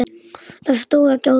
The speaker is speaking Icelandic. Það stóð ekki á því.